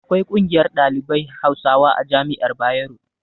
Akwai ƙungiyar ɗalibai hausawa a jami'ar bayero